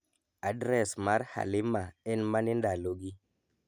adres mar Halima en mane ndalogi